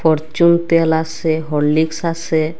Fortune তেল আসে Horlicks আসে ।